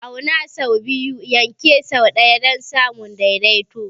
Auna sau biyu, yanke sau ɗaya don samun daidaito.